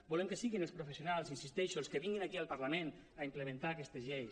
volem que siguin els professionals hi insisteixo els que vinguin aquí al parlament a implementar aquestes lleis